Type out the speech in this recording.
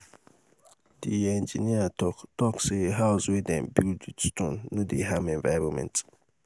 di engineer talk talk sey house wey dem build with stone no dey harm environment.